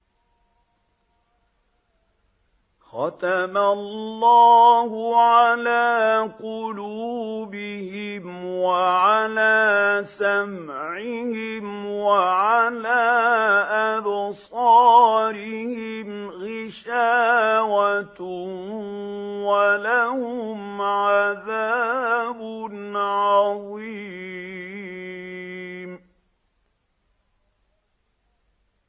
خَتَمَ اللَّهُ عَلَىٰ قُلُوبِهِمْ وَعَلَىٰ سَمْعِهِمْ ۖ وَعَلَىٰ أَبْصَارِهِمْ غِشَاوَةٌ ۖ وَلَهُمْ عَذَابٌ عَظِيمٌ